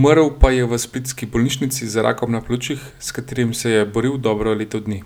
umrl pa je v splitski bolnišnici za rakom na pljučih, s katerim se je boril dobro leto dni.